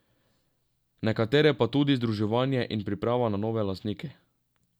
Nekatere pa tudi združevanje in priprava na nove lastnike.